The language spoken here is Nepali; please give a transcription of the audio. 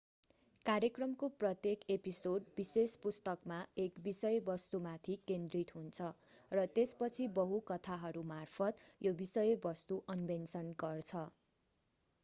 कार्यक्रमको प्रत्येक एपिसोड विशेष पुस्तकमा एक विषयवस्तुमाथि केन्द्रित हुन्छ र त्यसपछि बहु कथाहरूमार्फत त्यो विषयवस्तु अन्वेषण गर्छ